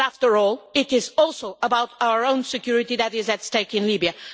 But after all, it is also about our own security that is at stake in Libya.